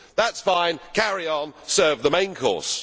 That is fine, carry on, serve the main course.